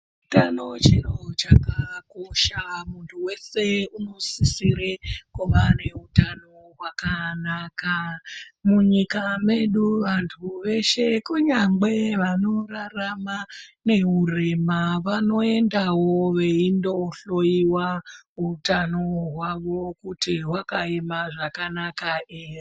Utano chiro chakakosha muntu vese unosisire kuva neutano hwakanaka. Munyika medu vantu veshe kunyangwe vanorarama neurema vanoendavo veindo hloiwa utano hwavo kuti vakaema zvakanaka ere.